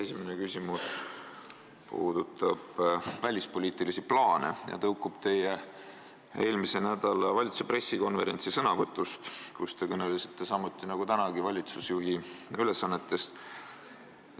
Esimene küsimus puudutab välispoliitilisi plaane ja tõukub teie sõnavõtust eelmise nädala valitsuse pressikonverentsil, kus te samuti, nagu te tänagi olete, olite valitsusjuhi ülesannetes.